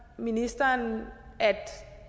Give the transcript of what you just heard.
ministeren at